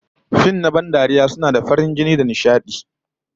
Fim na ban dariya suna da farin jini da sa nishadi